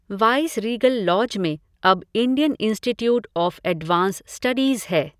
Viceregal Lodge में अब Indian Institute of Advance Studies है।